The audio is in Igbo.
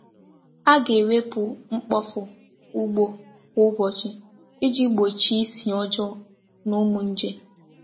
A ga-ewepụ mkpofu ugbo kwa ụbọchị iji gbochie isi ọjọọ na ụmụ nje.